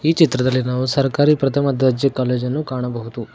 ಚಿತ್ರದಲ್ಲಿ ನಾವು ಸರ್ಕಾರಿ ಪ್ರಥಮ ದರ್ಜೆ ಕಾಲೇಜ್ ಅನ್ನು ಕಾಣಬಹುದು.